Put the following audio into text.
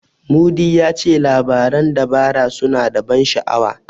Mudi ya ce labaran dabara suna da ban sha'awa.